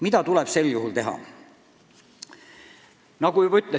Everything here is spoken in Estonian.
Mida tuleb sel juhul teha?